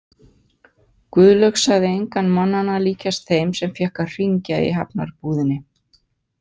Guðlaug sagði engan mannanna líkjast þeim sem fékk að hringja í Hafnarbúðinni.